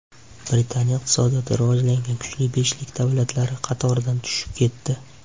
Britaniya iqtisodiyoti rivojlangan kuchli beshlik davlatlari qatoridan tushib ketdi.